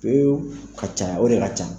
O ka ca o de ka ca.